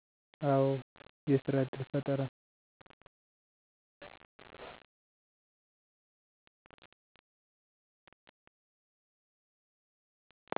አወ። የስራ ዕድል ፈጠራ።